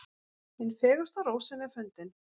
Hin fegursta rósin er fundin.